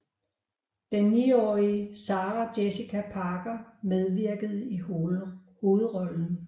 Den niårige Sarah Jessica Parker medvirkede i hovedrollen